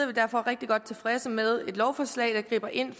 vi derfor rigtig godt tilfredse med et lovforslag der griber ind